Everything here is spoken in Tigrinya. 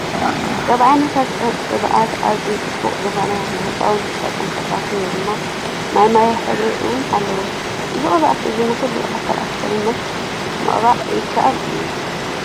ካብ ዓይነታት ህብኣትኣዝዩ! ፅቡቅ ዝኮነ ንህፃውቲ ዝጠቀም ፈሳሲ ወይ ድማ ማይማዮ ሕብሪ እውን ኣለዎ ። እዚ ቅብኣት እዚ ንኩሉ ኣካላት ሰብነት ምቅባእ ይከኣል እዩ።